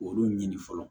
Olu ɲini fɔlɔ